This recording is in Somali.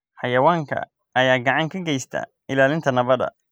Xayawaankan ayaa gacan ka geysta ilaalinta nabadda.